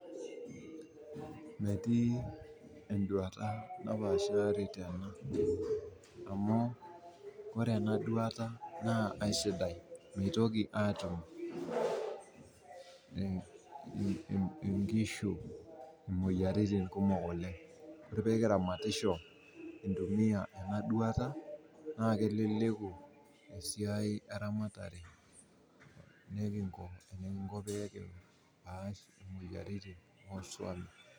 Metii enduata napaashari tena, amu ore ena duata na aisidai. Meitoki atum inkishu imoyaritin kumok oleng', ore pee iramatisho intumia ena duata, naa keleleku esiai eramatare nekingo eninko pias isuam.